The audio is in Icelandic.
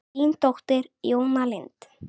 Þín dóttir, Jóna Lind.